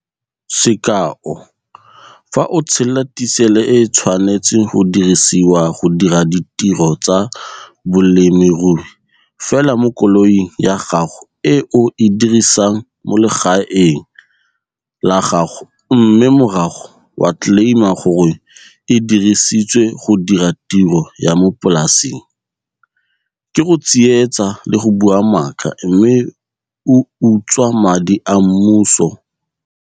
Sekao. Fa o tshela tisele e e tshwanetseng go dirisiwa go dira ditiro tsa bolemirui fela mo koloing ya gago e o e dirisang mo legaeng la gago mme morago wa tleleima gore e dirisitswe go dira tiro ya mo polaseng, ke go tsietsa le go bua maaka mme o utswa madi a mmuso.